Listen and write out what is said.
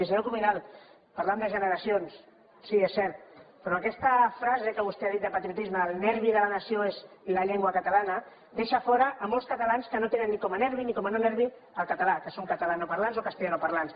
i senyor cuminal parlant de generacions sí és cert però amb aquesta frase que vostè ha dit de patriotisme el nervi de la nació és la llengua catalana deixa fora molts catalans que no tenen com a nervi ni com a no ner vi el català que són catalanoparlants o castellanoparlants